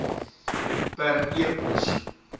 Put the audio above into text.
per e pos